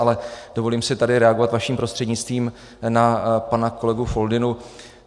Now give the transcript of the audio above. Ale dovolím si tady reagovat vaším prostřednictvím na pana kolegu Foldynu.